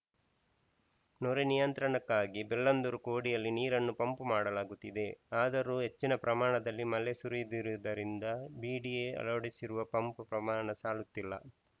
ನೊರೆ ನಿಯಂತ್ರಣಕ್ಕಾಗಿ ಬೆಳ್ಳಂದೂರು ಕೋಡಿಯಲ್ಲಿ ನೀರನ್ನು ಪಂಪ್‌ ಮಾಡಲಾಗುತ್ತಿದೆ ಆದರೂ ಹೆಚ್ಚಿನ ಪ್ರಮಾಣದಲ್ಲಿ ಮಳೆ ಸುರಿದಿರುವುದರಿಂದ ಬಿಡಿಎ ಅಳವಡಿಸಿರುವ ಪಂಪ್‌ ಪ್ರಮಾಣ ಸಾಲುತ್ತಿಲ್ಲ